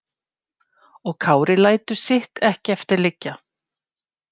Og Kári lætur sitt ekki eftir liggja.